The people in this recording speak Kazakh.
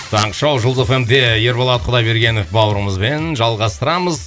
таңғы шоу жұлдыз эф эм де ерболат құдайбергенов бауырымызбен жалғастырамыз